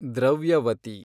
Dravyavati